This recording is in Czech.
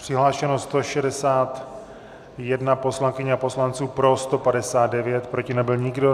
Přihlášeno 161 poslankyň a poslanců, pro 159, proti nebyl nikdo.